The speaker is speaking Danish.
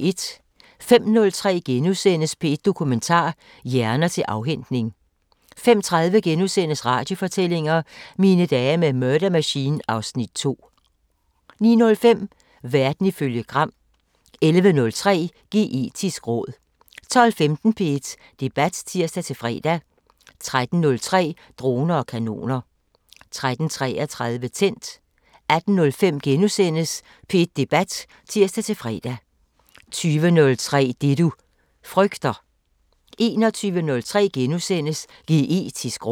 05:03: P1 Dokumentar: Hjerner til afhentning * 05:30: Radiofortællinger: Mine dage med Murder Machine (Afs. 2)* 09:05: Verden ifølge Gram 11:03: Geetisk råd 12:15: P1 Debat (tir-fre) 13:03: Droner og kanoner 13:33: Tændt 18:05: P1 Debat *(tir-fre) 20:03: Det du frygter 21:03: Geetisk råd *